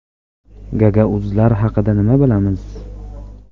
Gagauzlar haqida nima bilamiz?.